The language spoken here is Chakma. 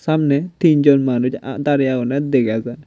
samney tinjon manuj aa darey agonney dega jar.